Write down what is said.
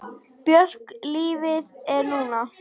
Björk Lífið er núna!